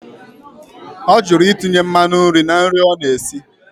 Ọ jụrụ itinye mmanụ nri na nri ọ na-esi.